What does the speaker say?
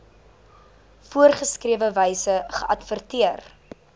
voorgeskrewe wyse geadverteer